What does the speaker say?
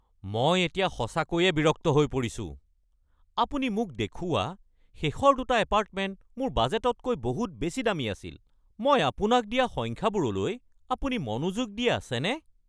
মই এতিয়া সঁচাকৈয়ে বিৰক্ত হৈ পৰিছোঁ। আপুনি মোক দেখুওৱা শেষৰ দুটা এপাৰ্টমেণ্ট মোৰ বাজেটতকৈ বহুত বেছি দামী আছিল। মই আপোনাক দিয়া সংখ্যাবোৰলৈ আপুনি মনোযোগ দি আছেনে?